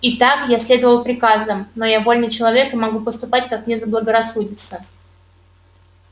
итак я следовал приказам но я вольный человек и могу поступать как мне заблагорассудится